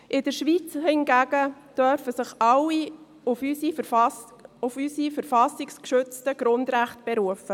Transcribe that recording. In der Schweiz hingegen dürfen sich alle auf unsere von der Verfassung geschützten Grundrechte berufen.